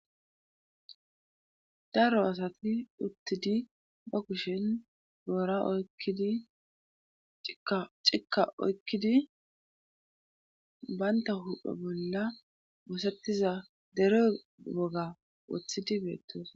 daro asati uttidi ba kushen toora oykkidi cikka cikka oykkidi bantta huphe bolla osettiza dere woga woththidi beettosona.